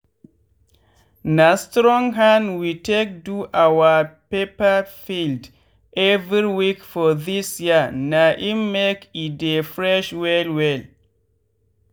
na strong hand we take do our pepper field every week for this year na im make e dey fresh well well.